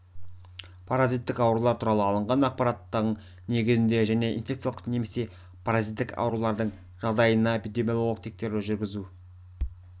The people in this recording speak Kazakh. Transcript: паразиттік аурулар туралы алынған ақпараттың негізінде және инфекциялық немесе паразиттік аурулардың жағдайына эпидемиологиялық тексеру жүргізу